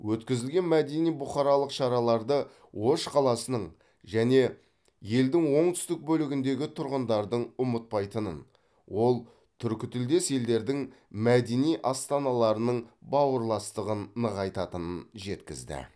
өткізілген мәдени бұқаралық шараларды ош қаласының және елдің оңтүстік бөлігіндегі тұрғындардың ұмытпайтынын ол түркітілдес елдердің мәдени астаналарының бауырластығын нығайтатынын жеткізді